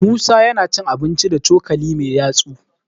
musa yana cin abinci da cokali Mai yatsu